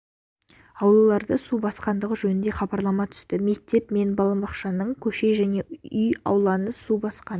аулаларды су басқандығы жөнінде хабарлама түсті мектеп мен балабақшаның көше және үй ауланы су басқан